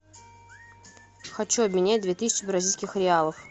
хочу обменять две тысячи бразильских реалов